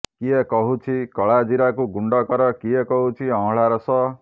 କିଏ କହୁଛି କଳାଜିରାକୁ ଗୁଣ୍ଡ କର କିଏ କହୁଛି ଅଁଳା ରସ